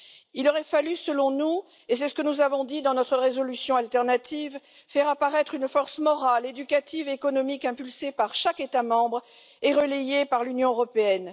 Selon nous, il aurait fallu et c'est ce que nous avons dit dans notre résolution alternative faire apparaître une force morale éducative et économique impulsée par chaque État membre et relayée par l'Union européenne.